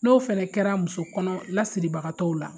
N'o fana kɛra muso kɔnɔ lasiribagatɔw la